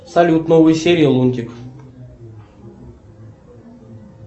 салют новые серии лунтик